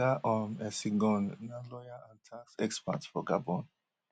oga um essigone na lawyer and tax expert for gabon